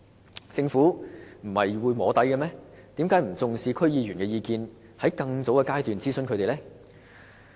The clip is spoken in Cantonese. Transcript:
為何政府不重視區議員的意見，在更早的階段諮詢他們呢？